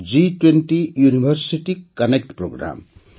G20 university connect programme